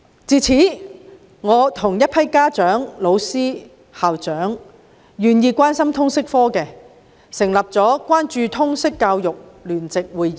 自此，我與一批家長、老師、校長及願意關心通識科的人成立了關注通識教育聯席會議。